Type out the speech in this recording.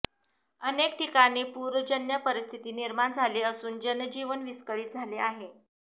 अनेक ठिकाणी पूरजन्य परिस्थिती निर्माण झाली असून जनजीवन विस्कळीत झाले आहे